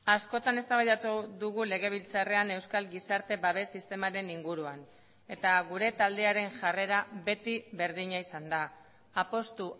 askotan eztabaidatu dugu legebiltzarrean euskal gizarte babes sistemaren inguruan eta gure taldearen jarrera beti berdina izan da apustu